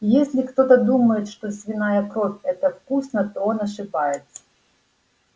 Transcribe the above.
если кто-то думает что свиная кровь это вкусно то он ошибается